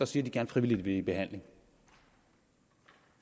siger de gerne frivilligt vil i behandling